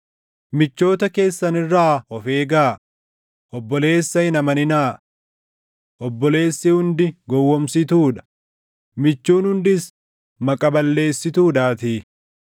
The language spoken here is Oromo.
“Michoota keessan irraa of eegaa; obboleessa hin amaninaa. Obboleessi hundi gowwoomsituu dha, michuun hundis maqa balleessituudhaatii.